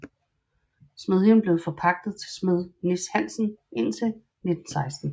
Smedjen blev forpagtet til smed Nis Hansen indtil 1916